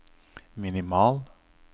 minimal